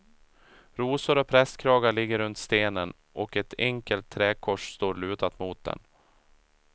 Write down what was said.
Rosor och prästkragar ligger runt stenen och ett enkelt träkors står lutat mot den.